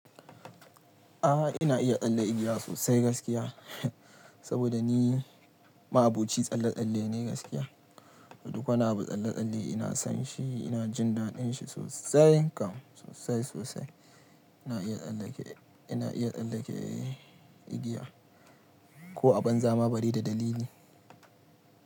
A'a ina iya tsalle igiya sosai gaskiya. Saboda ni ma'aboci tsalle-tsalle ne gaskiya. Duk wanda abu tsalle-tsalle ina san shi, ina jin daɗin shi sosai kam sosai sosai. Ina iya tsallake, ina iya tsallake igiya. Ko a banza ma balle da dalili.